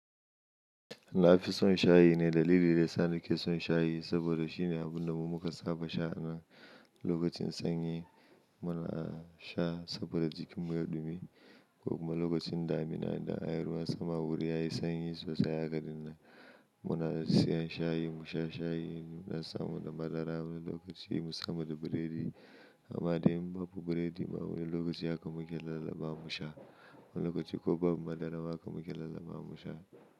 Na fi son shayi ne dalili daya sa na ke son shayi saboda shine abun da mu muka saba sha a nan lokacin sanyi muna sha saboda jikin mu yayi dumi ko kuma wani lokacin damuna za ayi ruwan sama wuri yayi sanyi sosai haka muna siyan shayi mu sha shayi mu dan samata madara wani lokaci musha da burodi amma dai in babu burodi ma wani lokaci haka muke lallabawa mu sha wani lokacin ko babu madara haka muke lallabawa mu sha.